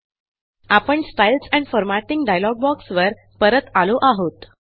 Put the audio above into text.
आपणStyles and formatting dialog बॉक्सवर परत आलो आहोत